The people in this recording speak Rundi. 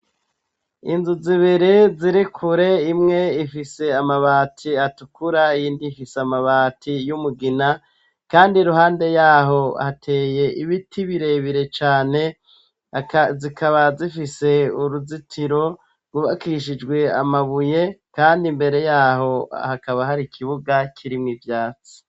Inzu zibiri zirikure imwe ifise amabati atukura yindi ifise amabati y'umugina, kandi ruhande yaho hateye ibiti birebire cane, zikaba zifise uruzitiro rubakishijwe amabuye kandi mbere yaho hakaba hari ikibuga kirimwo ivyatsi.